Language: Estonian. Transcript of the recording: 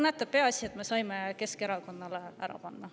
Näete, peaasi et me saime Keskerakonnale ära panna.